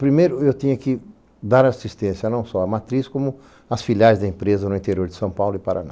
Primeiro, eu tinha que dar assistência não só à matriz, como às filiais da empresa no interior de São Paulo e Paraná.